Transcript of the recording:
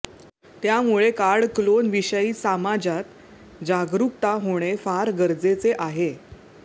त्यामुळे card clone विषयी सामाजात जागरुकता होणे फार गरजेचे आहे